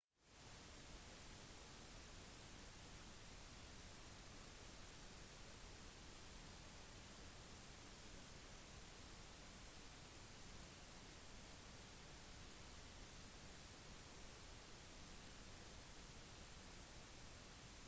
«det ville vært ubehagelig å sitte fast i en berg og dalbane om det varte lenge eller ikke forandrer ingenting og det tok minst én time å få av den første personen.»